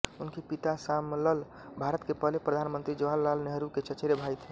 उनके पिता शामलल भारत के पहले प्रधान मंत्री जवाहरलाल नेहरू के चचेरे भाई थे